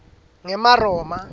ngemaroma